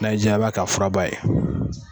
Na y'i ja a b'a k'a furaba ye